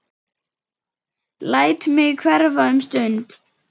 Læt mig hverfa um stund.